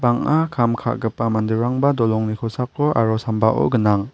kam ka·gipa manderangba dolongni kosako aro sambao gnang.